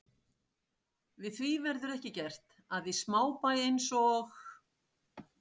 Við því verður ekki gert, að í smábæ eins og